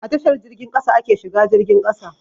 A tashar jirgin ƙasa ake shiga jirgin ƙasa.